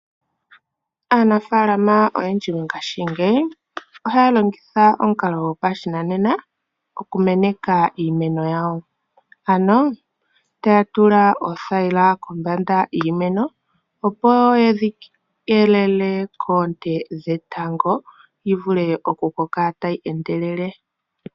Aanafaalama oyendji mongashingeyi ohaya longitha omukalo gopashinanena okumeneka iimeno yawo. Ano taya tula pothayila kombanda yiimeno, opo yedhi keelele koonte dhetango , yivule okukoka tayi endelele.